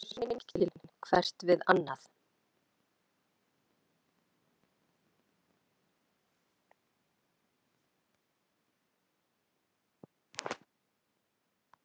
Þau eru hreinskilin hvert við annað.